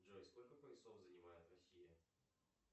джой сколько поясов занимает россия